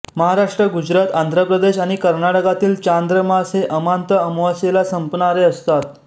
महाराष्ट्र गुजरात आंध्रप्रदेश आणि कर्नाटकातील चांद्र मास हे अमान्त अमावस्येला संपणारे असतात